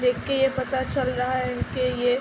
देख के ये पता चल रहा है कि ये --